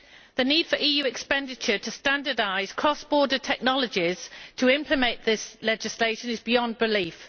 The need for EU expenditure to standardise cross border technologies to implement this legislation is beyond belief.